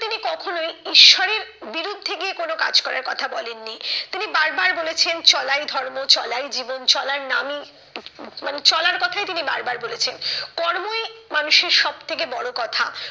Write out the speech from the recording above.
কখনোই ঈশ্বরের বিরুদ্ধে গিয়ে কোনো কাজ করার কথা বলেননি। তিনি বার বার বলেছেন চলাই ধর্ম, চলাই জীবন চলার নামই মানে চলার কথাই তিনি বার বার বলেছেন। কর্মই মানুষের সব থেকে বড় কথা।